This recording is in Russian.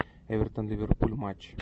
эвертон ливерпуль матч